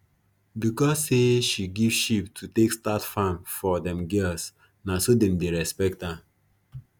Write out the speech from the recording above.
because say she give sheep to take start farm for them girls na so them dey respect am